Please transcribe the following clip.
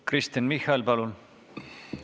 Kristen Michal, palun!